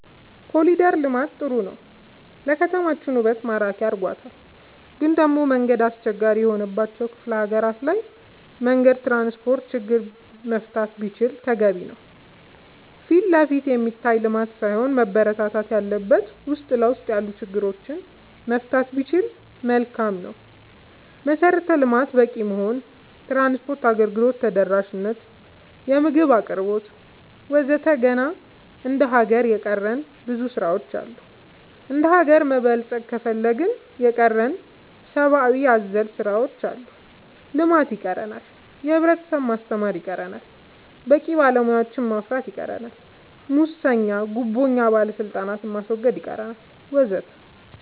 ኮሊደር ልማት ጥሩ ነው ለከተማችን ውበት ማራኪ አርጎታል ግን ደሞ መንገድ አስቸጋሪ የሆነባቸው ክፍለ ሀገራት ላይ መንገድ ትራንስፖርት ችግር መፈታት ቢችል ተገቢ ነው ፊትለፊት የሚታይ ልማት ሳይሆን መበረታታት ያለበት ውስጥ ለውስጥ ያሉ ችግሮች መፍታት ቢቻል መልካም ነው መሰረተ ልማት በቂ መሆን ትራንስፓርት አገልግሎት ተደራሽ ነት የምግብ አቅርቦት ወዘተ ገና እንደ ሀገር የቀረን ብዙ ስራ ዎች አሉ እንደሀገር መበልፀግ ከፈለግን የቀረን ሰባአዊ አዘል ስራዎች አሉ ልማት ይቀረናል የህብረተሰብ ማስተማር ይቀረናል በቂ ባለሙያ ማፍራት ይቀረናል ሙሰኛ ጉቦኛ ባለስልጣናት ማስወገድ ይቀረናል ወዘተ